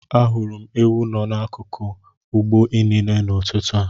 Ahụrụ m ewu n'akụkụ ugbo inine n'ụtụtụ a.